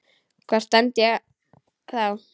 Hvar stend ég þá?